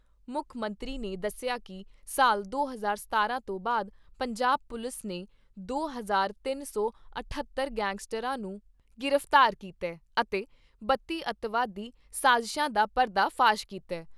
ਮੁੱਖ ਮੰਤਰੀ ਨੇ ਦੱਸਿਆ ਕਿ ਸਾਲ ਦੋ ਹਜ਼ਾਰ ਸਤਾਰਾਂ ਤੋਂ ਬਾਅਦ ਪੰਜਾਬ ਪੁਲਿਸ ਨੇ ਦੋ ਹਜ਼ਾਰ ਤਿੰਨ ਸੌ ਇਠੱਤਰ ਗੈਗਸਟਰਾਂ ਨੂੰ ਗ੍ਰਿਫਤਾਰ ਕੀਤਾ ਅਤੇ ਬੱਤੀ ਅੱਤਵਾਦੀ ਸਾਜ਼ਿਸਾ ਦਾ ਪਰਦਾ ਫਾਸ਼ ਕੀਤਾ ।